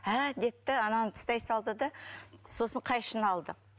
әәә деді да ананы тастай салды да сосын қайшыны алды